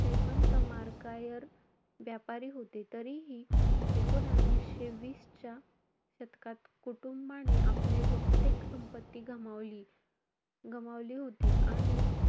श्रीमंत मार्कायर व्यापारी होते. तरीही एकूणवीसशे वीसच्या शतकात कुटुंबाने आपले बहुतेक संपत्ती गमावली~ गमावली होती. आणि,